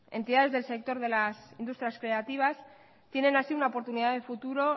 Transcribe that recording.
entidades del sector de las industrias creativas tienen así una oportunidad de futuro